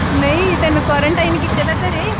ਨਹੀਂ ਤੇਨੂੰ quarantine ਕੀਤੇ ਦਾ ਘਰੇ